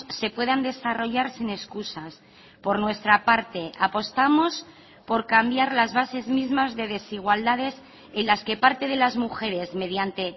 se puedan desarrollar sin excusas por nuestra parte apostamos por cambiar las bases mismas de desigualdades en las que parte de las mujeres mediante